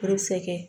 Furu sɛgɛn